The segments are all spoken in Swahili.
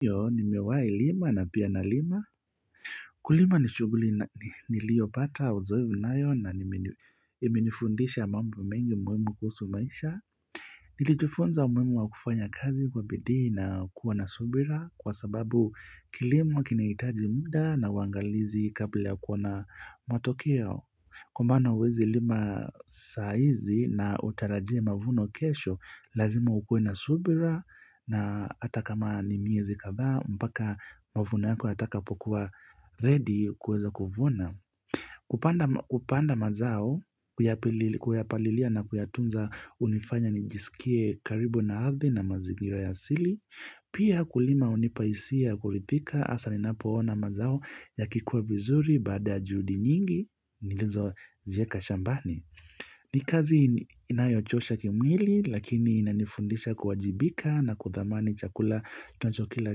Ndo. Nimewai lima na pia nalima. Kulima ni shughuli nilio pata uzoefu nayo na imenifundisha mambo mengi muhimu kuhusu maisha. Nikifunza umuhimu wa kufanya kazi kwa bidii na kuwa na subira kwa sababu kilimo kinahitaji mda na uangalizi kabla ya kuwa na matokeo. Kwa maana huwezi lima, sahizi na utarajie mavuno kesho, lazima ukuwe na subira na hata kama ni miezi kadhaa, mpaka mavuno yako yatakapokuwa ready kuweza kuvuna. Kupanda mazao, kuyapalilia na kuyatunza hunifanya nijiskie karibu na ardhi na mazingira asili, pia kulima hunipa hisia ya kuridhika hasa ninapoona mazao yakikua vizuri baada ya juhudi nyingi nilizozieka shambani. Ni kazi inayochosha kimwili lakini inanifundisha kuwajibika na kuthamani chakula nacho kila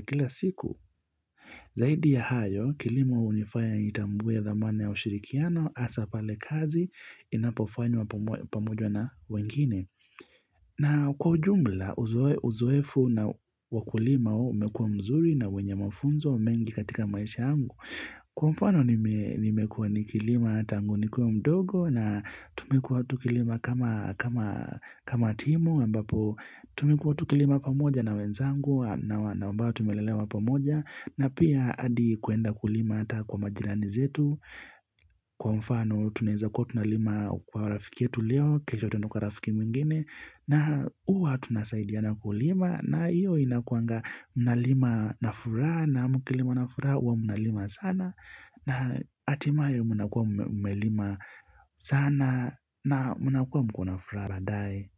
kila siku. Zaidi ya hayo kilimo hunifanya nitambue thamani ya ushirikiano hasa pale kazi inapofanywa pamoja na wengine. Na kwa ujumla uzoefu na wakulima umekuwa mzuri na wenye mafunzo mengi katika maisha yangu. Kwa mfano nimekuwa nikilima tangu nikuwe mdogo na tumekuwa tukilima kama timu ambapo tumekuwa tukilima pamoja na wenzangu na ambao tumelelewa pamoja na pia hadi kuenda kulima ata kwa majirani zetu. Kwa mfano tunaeza kuwa tunalima kwa rafiki yetu leo kesho twende kwa rafiki mwingine na uwa tunasaidiana kulima na iyo inakuanga mnalima na furaha na mkilima na furaha uwa mnalima sana na, hatimaye mnakuwa mmelima sana na mnakuwa mko na furaha baadaye.